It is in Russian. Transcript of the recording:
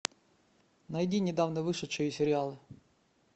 найди недавно вышедшие сериалы